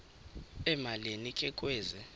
emalini ke kwezi